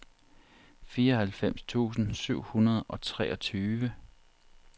fireoghalvfems tusind syv hundrede og treogtyve